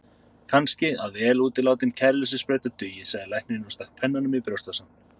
Kannski að vel útilátin kæruleysissprauta dugi, sagði læknirinn og stakk pennanum í brjóstvasann.